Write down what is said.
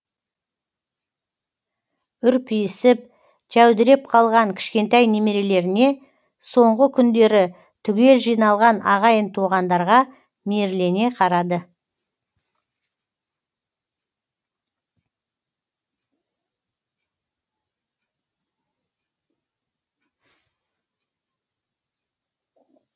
үрпиісіп жәудіреп қалған кішкентай немерелеріне соңғы күндері түгел жиналған ағайын туғандарға мейірлене қарады